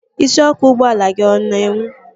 Isiọkụ ụgbọala gị ọ na-enwu?